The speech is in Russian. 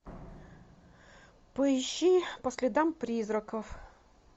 поищи по следам призраков